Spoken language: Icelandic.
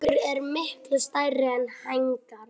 Hrygnur eru miklu stærri er hængar.